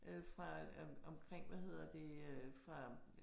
Øh fra om omkring hvad hedder det øh fra